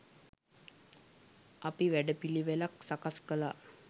අපි වැඩපිළිවෙළක් සකස් කලා.